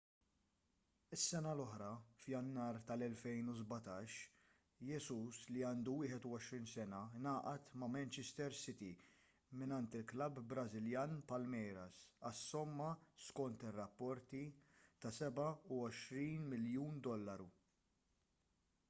is-sena l-oħra f'jannar tal-2017 jesus li għandu 21 sena ngħaqad ma' manchester city mingħand il-klabb brażiljan palmeiras għas-somma skont ir-rapporti ta' £27 miljun